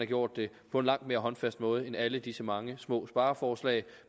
gjort det på en langt mere håndfast måde end alle disse mange små spareforslag